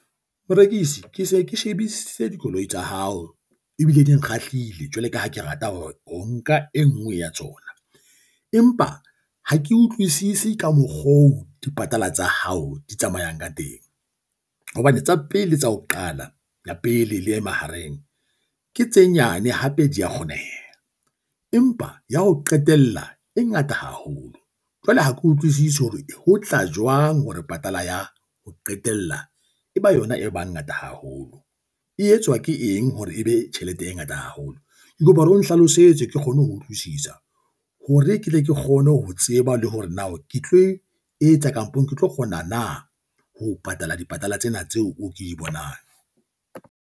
Morekisi, ke se ke shebisise dikoloi tsa hao ebile di nkgahlile jwaloka ha ke rata hore nka e nngwe ya tsona, empa ha ke utlwisisi ka mokgo dipatala tsa hao di tsamayang ka teng. Hobane tsa pele tsa ho qala, ya pele le e mahareng ke tse nyane hape di a kgoneha. Empa ya ho qetella e ngata haholo. Jwale ha ke utlwisise hore ho tla jwang hore patala ya ho qetela e ba yona e ba ngata haholo. E etswa ke eng hore ebe tjhelete e ngata haholo? Ke kopa hore o nhlalosetse ke kgone ho utlwisisa hore ke tle ke kgone ho tseba le hore na ke tlo e etsa kampong, ke tlo kgona na ho patala dipatala tsena tseo ke di bonang.